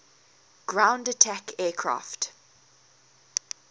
ground attack aircraft